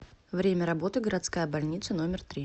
время работы городская больница номер три